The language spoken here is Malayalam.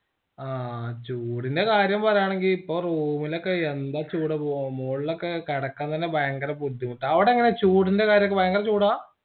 ആ ചൂടിന്റെ കാര്യംപറയാണെങ്കി ഇപ്പൊ room ഇലൊക്കെയെന്താ ചൂട് വൊ മോള്ളൊക്കെ കടക്കാൻ തന്നെ ഭയങ്കര ബുദ്ധിമുട്ടാ അവിടെങ്ങനെ ചൂടിന്റെകാര്യൊക്കെ ഭയങ്കര ചൂടാ